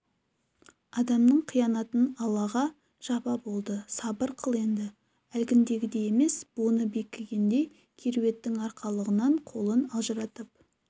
адамның қиянатын аллаға жаппа болды сабыр қыл енді әлгіндегідей емес буыны бекігендей кереуеттің арқалығынан қолын ажыратып